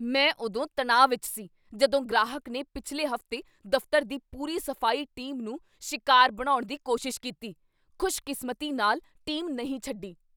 ਮੈਂ ਉਦੋਂ ਤਣਾਅ ਵਿੱਚ ਸੀ ਜਦੋਂ ਗ੍ਰਾਹਕ ਨੇ ਪਿਛਲੇ ਹਫ਼ਤੇ ਦਫ਼ਤਰ ਦੀ ਪੂਰੀ ਸਫ਼ਾਈ ਟੀਮ ਨੂੰ ਸ਼ਿਕਾਰ ਬਣਾਉਣ ਦੀ ਕੋਸ਼ਿਸ਼ ਕੀਤੀ। ਖ਼ੁਸ਼ਕਿਸਮਤੀ ਨਾਲ, ਟੀਮ ਨਹੀਂ ਛੱਡੀ.।